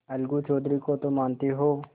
अलगू चौधरी को तो मानते हो